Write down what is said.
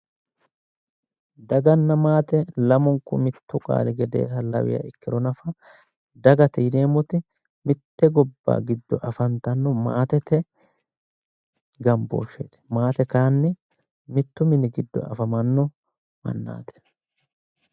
Daganna maate lamunku mittu qaali gedeha lawiha nafa ikkiro nafa dagate yineemmoti mitte gobba afantannoti, maatete gambooshsheeti, mittu manni giddo no mannaati.